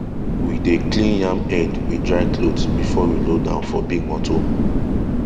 we dey clean yam head with dry cloth before we load am for big motor